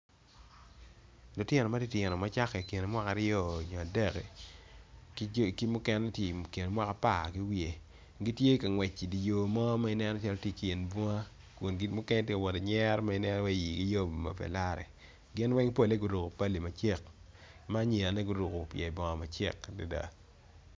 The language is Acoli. Lutino ma gititino macake ikine mwaka aryo nyo adek ki mukene tye ikine mwaka apar ki wiye gitye kangwec idye yor mo ma ineno calo waci tye dye bunga kun mukene tye ka wot ki nyero ma ineno waci igi yom ma pelare gin weng pole guruko pali macek ma anyirane guruko pye bongo macek adada.